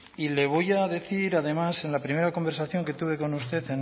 y le voy a decir además en la primera conversación que tuve con usted